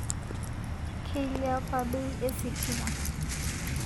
Keiliapa bei esitima